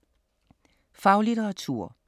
Faglitteratur